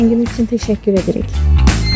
Zənginiz üçün təşəkkür edirik.